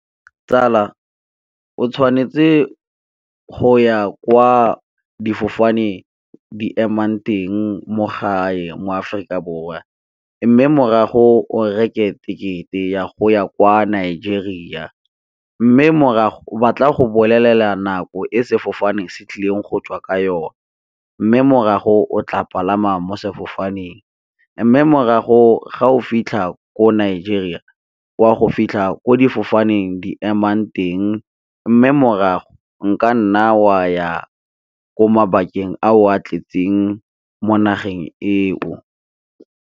Tsala, o tshwanetse go ya kwa difofane di emang teng mo gae, mo Aforika Borwa. Mme, morago o reke tekete ya go ya kwa Nigeria, mme, morago ba tla go bolelela nako e sefofane se tlileng go tswa ka yone, mme, morago o tla palama mo sefofaneng, mme, morago ga o fitlha ko Nigeria wa go fitlha ko difofaneng di emang teng. Mme, morago nkanna wa ya ko mabakeng a o a tletseng mo nageng eo.